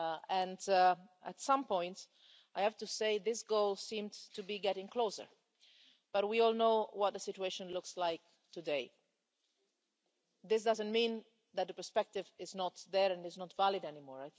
And, at some points, I have to say this goal seemed to be getting closer, but we all know what the situation looks like today. This doesn't mean that the perspective is not there and is not valid anymore.